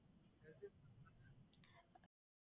Health Insurance தான